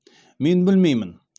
мен білмеймін